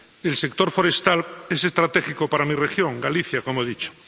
El sector forestal es estratégico para mi región —Galicia, como he dicho—.